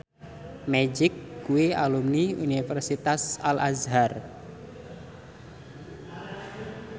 Magic kuwi alumni Universitas Al Azhar